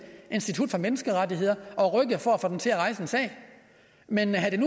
institut for menneskerettigheder og rykket for at få dem til at rejse en sag men havde